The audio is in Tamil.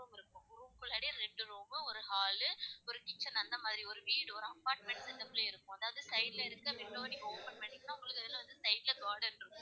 தனியா ரெண்டு room மு ஒரு hall கு ஒரு kitchen அந்த மாதிரி ஒரு வீடு ஒரு apartment அந்த இடத்துலேயே இருக்கும். அதாவது side ல இருக்குற window வ நீங்க open பன்னுனிங்கனா உங்களுக்கு reception side ல garden இருக்கும்.